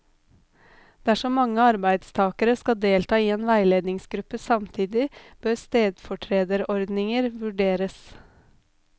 Dersom mange arbeidstakere skal delta i en veiledningsgruppe samtidig, bør stedfortrederordninger vurderes.